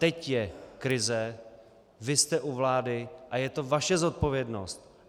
Teď je krize, vy jste u vlády a je to vaše zodpovědnost.